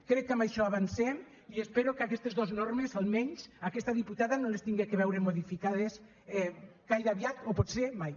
crec que amb això avancem i espero que aquestes dos normes almenys aquesta diputada no les hagi de veure modificades gaire aviat o potser mai